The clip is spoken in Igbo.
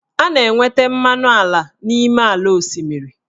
A na-enweta mmanụ ala n'ime ala osimiri.